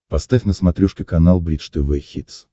поставь на смотрешке канал бридж тв хитс